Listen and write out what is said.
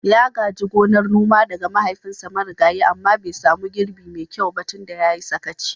Ya gaji gonar noma daga mahaifinsa marigayi amma bai samu girbi mai kyau ba tun da ya yi sakaci.